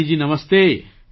Kalyani ji Namaste